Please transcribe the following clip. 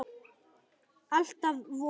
Alltaf von.